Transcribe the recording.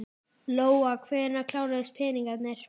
Lóa: Hvenær kláruðust peningarnir?